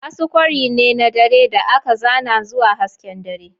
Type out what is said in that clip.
Asu kwari ne na dare da aka zana zuwa hasken dare.